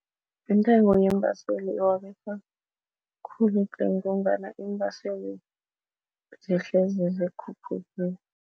Intengo yeembaseli khulu tle ngombana iimbaseli zehlezi zikhuphukile.